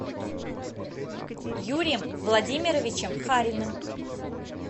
юрием владимировичем хариным